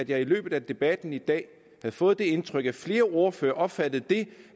jeg i løbet af debatten i dag har fået det indtryk at flere ordførere opfatter det